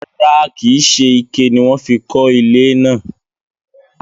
rárá, kìí se ike ni wọ́n fi kọ́ ilé náà.